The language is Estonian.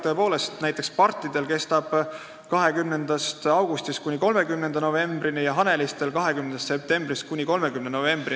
Tõepoolest, näiteks pardijahi hooaeg kestab 20. augustist kuni 30. novembrini ja haneliste jaht 20. septembrist kuni 30. novembrini.